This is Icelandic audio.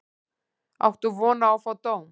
Áttu von á að fá dóm?